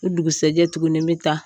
O dugusajɛ tuguni n mi taa.